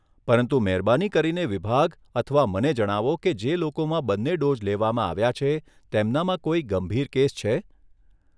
પરંતુ મહેરબાની કરીને વિભાગ અથવા મને જણાવો કે જે લોકોમાં બંને ડોઝ લેવામાં આવ્યા છે તેમનામાં કોઈ ગંભીર કેસ છે.